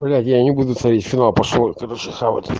блять я не буду смотреть финал пошёл я короче хавть